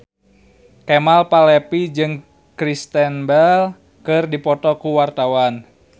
Kemal Palevi jeung Kristen Bell keur dipoto ku wartawan